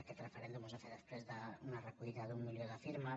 aquest referèndum es va fer després d’una recollida d’un milió de firmes